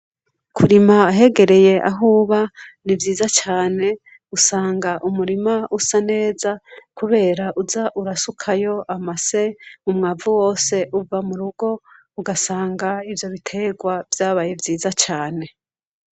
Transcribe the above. kurima ahegereye ahuba ni vyiza cane usanga umurima usa neza kubera uza urasukayo amase umwavu wose uva mu rugo ugasanga ivyo biterwa vyabaye vyiza cane